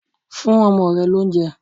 Fún ọmọ rẹ l'óunjẹ